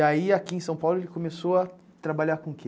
E aí, aqui em São Paulo, ele começou a trabalhar com o quê?